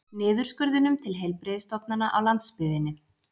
Niðurskurðinum til heilbrigðisstofnananna á landsbyggðinni